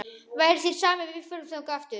Væri þér sama ef við förum þangað aftur?-